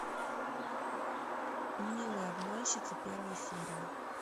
милые обманщицы первая серия